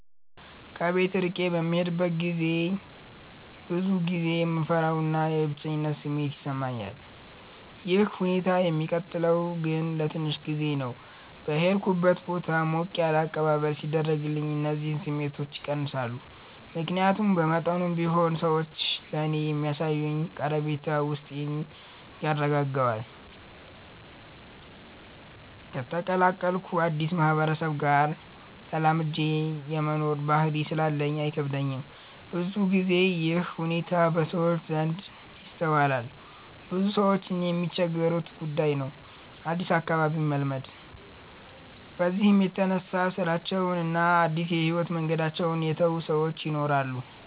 ከቤት እርቄ በምሄድበት ገዜ ብዙ ጊዜ የመፍራት እና የብቸኝነት ስሜት ይሰማኛል። ይህ ሁኔታ የሚቀጥለው ግን ለትንሽ ጊዜ ነው። በሄድኩበት ቦታ ሞቅ ያለ አቀባበል ሲደረግልኝ እነዚህ ስሜቶች ይቀንሳሉ። ምክያቱም በመጠኑም ቢሆን ሰዎች ለኔ የሚያሳዩኝ ቀረቤታ ውስጤን ያረጋጋዋል። ከተቀላቀሉት አድስ ማህበረሰብ ጋር ተላምጄ የመኖር ባህሪ ስላለኝ አይከብደኝም። ብዙ ግዜ ይህ ሁኔታ በሰዎች ዘንድ ይስተዋላል ብዙ ሰዎችም የሚቸገሩበት ጉዳይ ነው አድስ አካባቢን መልመድ። በዚህም የተነሳ ስራቸውን እና አድስ የህይወት መንገዳቸውን የተው ሰወች ይናራሉ።